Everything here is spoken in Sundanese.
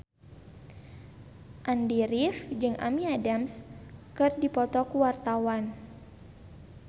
Andy rif jeung Amy Adams keur dipoto ku wartawan